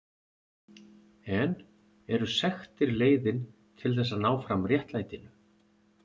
En eru sektir leiðin til þess að ná fram réttlætinu?